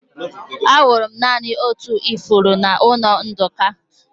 Ahụrụ m naanị otu ifuru n'ụlọ Nduka.